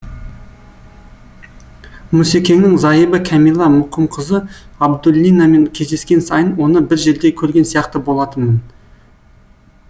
мұсекеңнің зайыбы кәмила мұқымқызы абдуллинамен кездескен сайын оны бір жерде көрген сияқты болатынмын